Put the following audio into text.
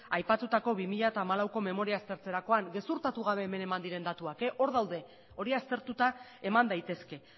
aipatutako bi mila hamalauko memoria aztertzerakoan gezurtatu gabe hemen eman diren datuak hor daude hori aztertuta eman daitezke